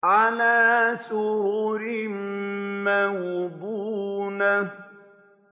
عَلَىٰ سُرُرٍ مَّوْضُونَةٍ